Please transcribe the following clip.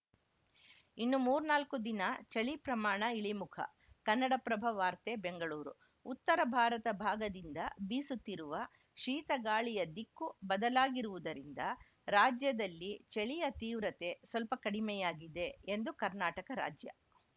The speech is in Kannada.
ಇನ್ನು ಮೂರ್ನಾಲ್ಕು ದಿನ ಚಳಿ ಪ್ರಮಾಣ ಇಳಿಮುಖ ಕನ್ನಡಪ್ರಭ ವಾರ್ತೆ ಬೆಂಗಳೂರು ಉತ್ತರ ಭಾರತ ಭಾಗದಿಂದ ಬೀಸುತ್ತಿರುವ ಶೀತಗಾಳಿಯ ದಿಕ್ಕು ಬದಲಾಗಿರುವುದರಿಂದ ರಾಜ್ಯದಲ್ಲಿ ಚಳಿಯ ತೀವ್ರತೆ ಸ್ವಲ್ಪ ಕಡಿಮೆಯಾಗಿದೆ ಎಂದು ಕರ್ನಾಟಕ ರಾಜ್ಯ